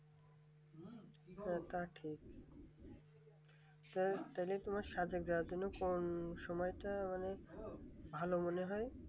তা ঠিক তো তোমার কোন সময়টা মানে ভালো মনে হয়